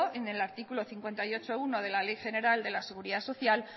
en el artículo cincuenta y ocho punto uno de la ley general de la seguridad social